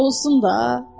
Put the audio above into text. Qoy olsun da.